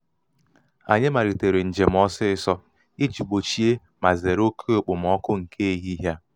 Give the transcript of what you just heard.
anyị malitere njem ọsịsọ iji gbochie ma zere oke okpomọkụ nke ehihie a.